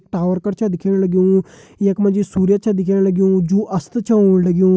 Tower कर छे दिखेण लग्युं यखमा जी सूर्य च दिखेण लग्युं जो अस्त च होण लग्युं।